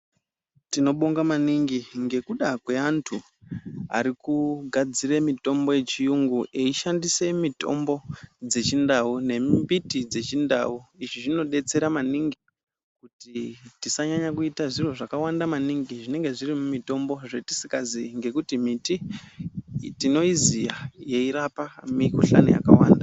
Tinobonga maningi ngekuda kweantu arikugadzire mitombo yechiyungu eishandisa mitombo dzechindau, nembiti dzechindau. Izvi zvinodetsera maningi kuti tisanyanye kuita zviro zvakawanda maningi zvinenge zviri mumitombo, zvetisikaziyi nekuti miti tinoiziya yeirape mikuhlani yakawanda.